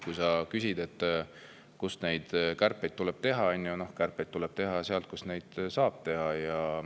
Kui sa küsid, kust kärpida tuleb, kärpeid tuleb teha seal, kus neid saab teha.